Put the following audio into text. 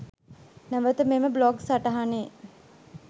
නැවත මෙම බ්ලොග් සටහනේ